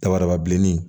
Dababa bilenni